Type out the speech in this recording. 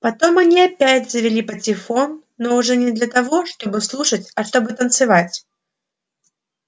потом они опять завели патефон но уже не для того чтобы слушать а чтобы танцевать